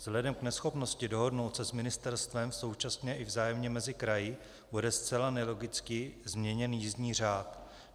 Vzhledem k neschopnosti dohodnout se s ministerstvem, současně i vzájemně mezi kraji, bude zcela nelogicky změněn jízdní řád.